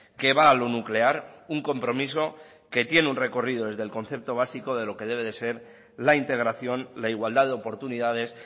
que va a lo nuclear un compromiso que tiene un recorrido desde el concepto básico de lo que debe de ser la integración la igualdad de oportunidades